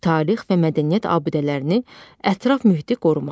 Tarix və mədəniyyət abidələrini, ətraf mühiti qorumaq.